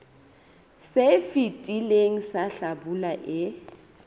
se fetileng sa hlabula e